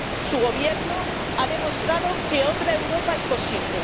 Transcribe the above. Su Gobierno ha demostrado que otra Europa es posible.